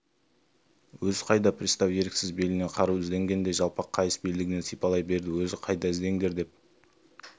өзі қайда пристав еріксіз белінен қару іздегендей жалпақ қайыс белдігін сипалай берді өзі қайда іздеңдер деп